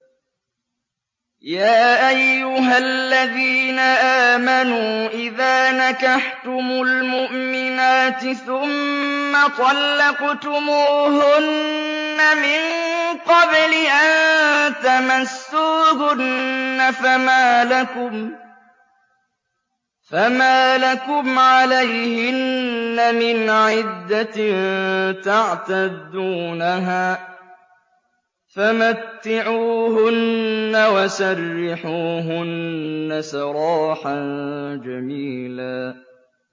يَا أَيُّهَا الَّذِينَ آمَنُوا إِذَا نَكَحْتُمُ الْمُؤْمِنَاتِ ثُمَّ طَلَّقْتُمُوهُنَّ مِن قَبْلِ أَن تَمَسُّوهُنَّ فَمَا لَكُمْ عَلَيْهِنَّ مِنْ عِدَّةٍ تَعْتَدُّونَهَا ۖ فَمَتِّعُوهُنَّ وَسَرِّحُوهُنَّ سَرَاحًا جَمِيلًا